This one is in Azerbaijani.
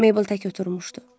Meybl tək oturmuşdu.